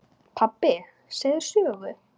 Pabbi segðu sögu.